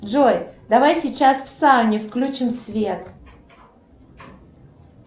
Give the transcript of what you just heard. джой давай сейчас в сауне включим свет